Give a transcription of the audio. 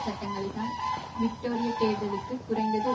சட்டங்களினால் விக்டோரியத் தேர்தலுக்கு குறைந்தது